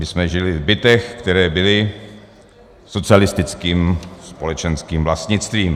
My jsme žili v bytech, které byly socialistickým společenským vlastnictvím.